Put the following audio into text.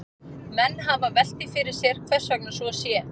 Menn hafa velt því fyrir sér hvers vegna svo sé.